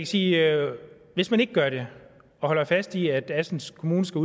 sige at hvis man ikke gør det og holder fast i at assens kommune skal